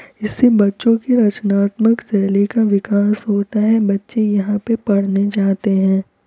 इससे बच्चों की रचनात्मक शैली का विकास होता है बच्चे यहाँ पे पढ़ने जाते हैं।